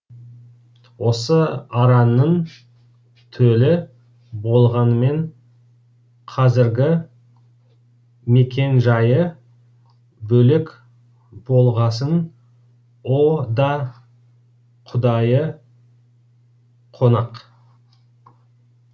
осы араның төлі болғанмен қазіргі мекен жайы бөлек болғасын о да құдайы қонақ